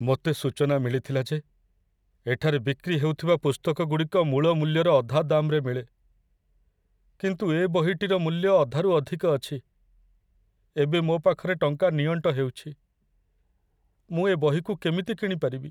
ମୋତେ ସୂଚନା ମିଳିଥିଲା ଯେ ଏଠାରେ ବିକ୍ରି ହେଉଥିବା ପୁସ୍ତକଗୁଡ଼ିକ ମୂଳ ମୂଲ୍ୟର ଅଧା ଦାମ୍‌ରେ ମିଳେ, କିନ୍ତୁ ଏ ବହିଟିର ମୂଲ୍ୟ ଅଧାରୁ ଅଧିକ ଅଛି। ଏବେ ମୋ ପାଖରେ ଟଙ୍କା ନିଅଣ୍ଟ ହେଉଛି, ମୁଁ ଏ ବହିକୁ କେମିତି କିଣିପାରିବି?